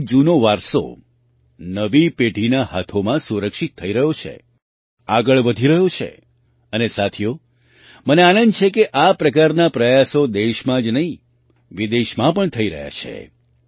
એટલે કે જૂનો વારસો નવી પેઢીના હાથોમાં સુરક્ષિત થઈ રહ્યો છે આગળ વધી રહ્યો છે અને સાથીઓ મને આનંદ છે કે આ પ્રકારના પ્રયાસો દેશમાં જ નહીં વિદેશમાં પણ થઈ રહ્યા છે